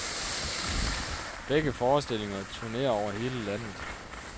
Begge forestillinger turnerer over hele landet.